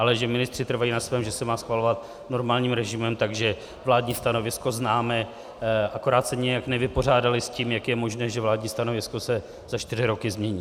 Ale že ministři trvají na svém, že se má schvalovat normálním režimem, takže vládní stanovisko známe, akorát se nijak nevypořádali s tím, jak je možné, že vládní stanovisko se za čtyři roky změní.